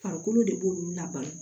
Farikolo de b'olu laban